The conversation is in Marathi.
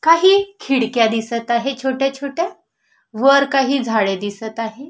काही खिडक्या दिसत आहे छोट्या छोट्या वर काही झाडे दिसत आहे.